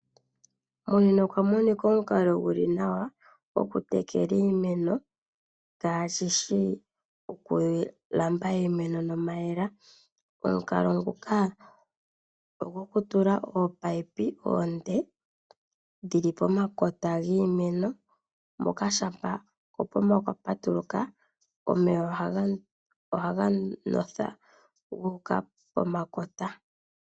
Monena okwa monika omukalo gu li nawa gokutekela iimeno kaashi shi okulandula iimeno nomayemele. Omukalo nguka ogo ku tula ominino omile dhi li pomakota giimeno moka shampa kopomba kwa patuluka, omeya ohaga ndotha gu uka pomakota giimeno.